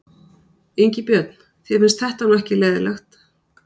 Ingi Björn, þér finnst þetta nú ekki leiðinlegt?